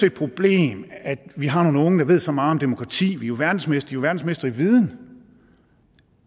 et problem at vi har nogle unge der ved så meget om demokrati de er jo verdensmestre verdensmestre i viden